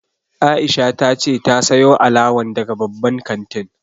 Aisha ta ce ta sayo alawan daga babban kantin